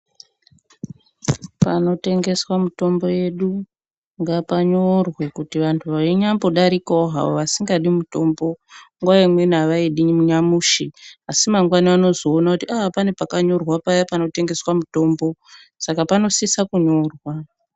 Panotengeswa mitombo yedu ngapanyorwe kuti vantu vainyambo darikavo havo vasingadi mutombo. Nguva imweni havaidi nyamushi asi mangwana vanozoona kuti aa pane pakanyorwa payana panotengeswa mutombo saka panosisa kunyorwa.